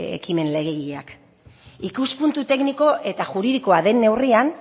ekimen legegileak ikuspuntu tekniko eta juridikoa den neurrian